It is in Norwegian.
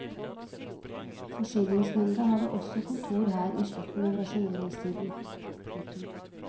Forsyningsnemda hadde også kontor her i slutten av rasjoneringstiden. punktum